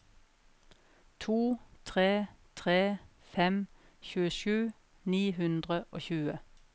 to tre tre fem tjuesju ni hundre og tjue